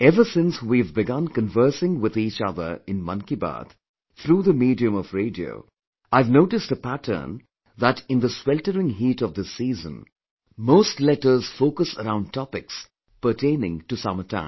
Ever since we have begun conversing with each other in 'Mann Ki Baat' through the medium of radio, I have noticed a pattern that in the sweltering heat of this season, most letters focus around topic pertaining to summer time